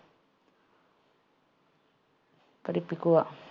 പഠിപ്പിക്കുക